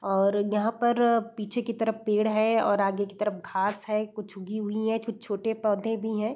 और यहाँ पर पीछे की तरफ पेड़ है और आगे की तरफ घास है कुछ उगी हुई हैं कुछ छोटे पौधे भी हैं।